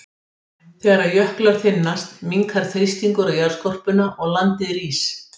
Þegar jöklar þynnast minnkar þrýstingur á jarðskorpuna og landið rís.